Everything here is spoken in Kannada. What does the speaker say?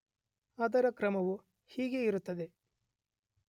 ಅದರ ಕ್ರಮವು ಹೀಗಿರುತ್ತದೆ